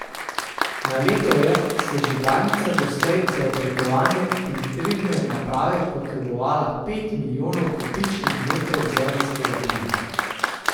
Na leto je sežigalnica doslej za obratovanje filtrirne naprave potrebovala pet milijonov kubičnih metrov zemeljskega plina.